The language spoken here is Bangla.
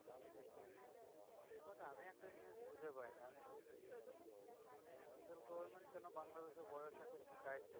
খুঁজে পাইনা central government কেনো বাংলাদেশের border টা কে tight